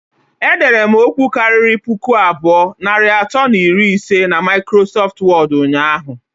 Ederem okwu kariri puku abụọ, narị atọ na iri ise na maikrosọft wọd ụnyaahụ